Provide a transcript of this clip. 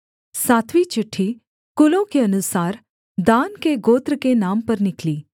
सातवीं चिट्ठी कुलों के अनुसार दान के गोत्र के नाम पर निकली